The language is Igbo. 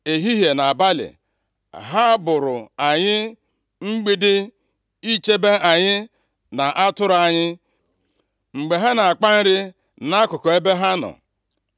Ehihie na abalị, ha bụụrụ anyị mgbidi, ichebe anyị na atụrụ anyị, mgbe ha na-akpa nri nʼakụkụ ebe ha nọ.